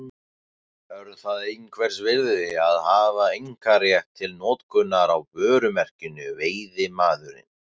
Er það einhvers virði að hafa einkarétt til notkunar á vörumerkinu Veiðimaðurinn?